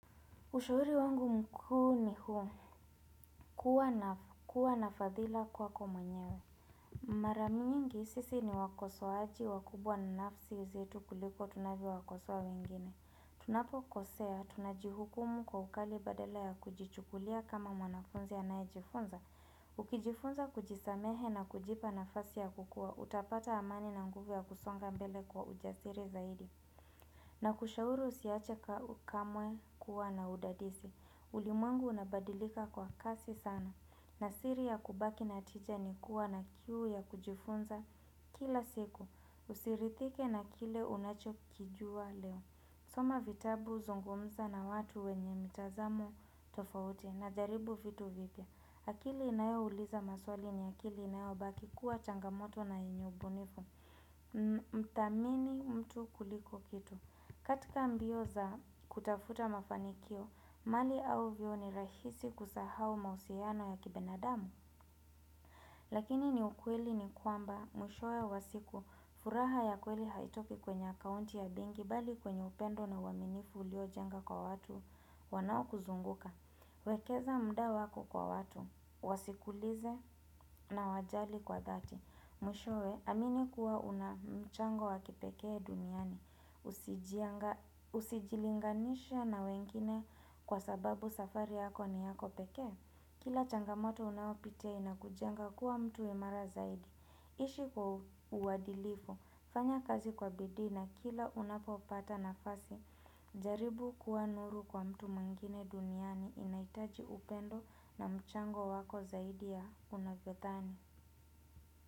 Ushauri wangu mkuu ni huu kuwa nafadhila kwako mwenyewe. Mara nyingi sisi ni wakosoaji wakubwa na nafsi zetu kuliko tunavyo wakosoa wengine. Tunapo kosea, tunajihukumu kwa ukali badala ya kujichukulia kama mwanafunzi anaye jifunza. Ukijifunza kujisamehe na kujipa nafasi ya kukua, utapata amani na nguvu ya kusonga mbele kwa ujasiri zaidi. Na kushauri usiache kamwe kuwa na udadisi ulimwengu unabadilika kwa kasi sana na siri ya kubaki natija ni kuwa na kiu ya kujifunza kila siku Usiridhike na kile unachokijua leo soma vitabu zungumza na watu wenye mitazamo tofauti na jaribu vitu vipya akili inayo uliza maswali ni akili inayo baki kuwa changamoto na yenye ubunifu Mthamini mtu kuliko kitu katika mbio za kutafuta mafanikio, mali au vyote ni rahisi kusahau mahusiano ya kibinadamu. Lakini ni ukweli ni kwamba mwishowe wa siku furaha ya kweli haitoki kwenye akaunti ya benki bali kwenye upendo na uaminifu ulio jenga kwa watu wanao kuzunguka. Wekeza mda wako kwa watu, wasikulize na wajali kwa dhati. Mwishowe, amini kuwa una mchango wakipekee duniani. Usijilinganishe na wengine kwa sababu safari yako ni yako pekee. Kila changamoto unayopitia inakujenga kuwa mtu imara zaidi. Ishi kwa uadilifu, fanya kazi kwa bidii na kila unapopata nafasi. Jaribu kuwa nuru kwa mtu mwingine duniani inahitaji upendo na mchango wako zaidi ya unavyodhani.